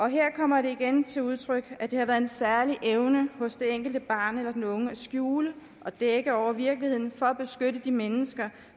her kommer det igen til udtryk at det har været en særlig evne hos det enkelte barn eller den unge at skjule og dække over virkeligheden for at beskytte de mennesker